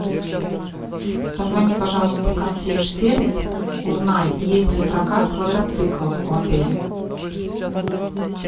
позвони пожалуйста в консьерж сервис узнай есть ли прокат квадроциклов в отеле